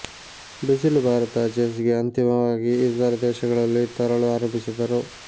ಬಿಸಿಲು ಭಾರತ ಚೆಸ್ ಗೆ ಅಂತಿಮವಾಗಿ ಇತರ ದೇಶಗಳಲ್ಲಿ ತರಲು ಆರಂಭಿಸಿದರು